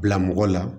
Bila mɔgɔ la